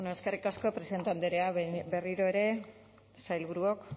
eskerrik asko presidente andrea berriro ere sailburuok